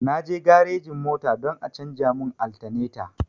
Na je garejin mota don a canja mu altaneta